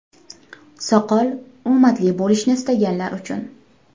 Soqol – omadli bo‘lishni istaganlar uchun.